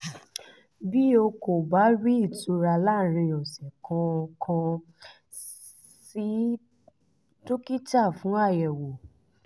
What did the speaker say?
bí o kò bá rí ìtura láàárín ọ̀sẹ̀ kan kàn sí dókítà fún àyẹ̀wò